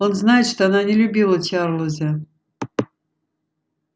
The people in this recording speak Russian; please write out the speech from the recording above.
он знает что она не любила чарлза